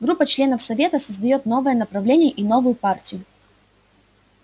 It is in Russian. группа членов совета создаёт новое направление и новую партию